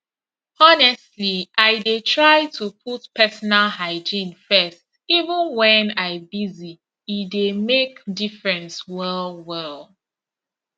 honestly i dey try to put personal hygiene first even when i busy e dey make difference well well